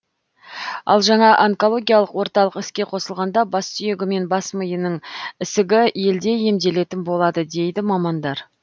ал жаңа онкологиялық орталық іске қосылғанда бас сүйегі мен бас миының ісігі елде емделетін болады дейді мамандар